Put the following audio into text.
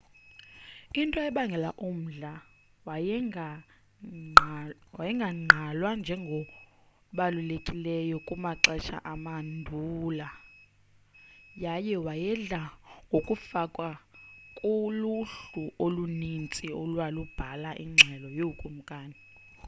into ebangela umdla wayengagqalwa njengobalulekileyo kumaxesha amanduula yaye wayedla ngokungafakwa kuluhlu oluninzi olwalubhala ingxelo yookumkani